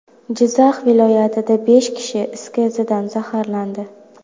Jizzax viloyatida besh kishi is gazidan zaharlandi.